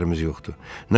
Niyə xəbərimiz yoxdur?